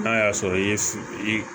N'a y'a sɔrɔ i ye i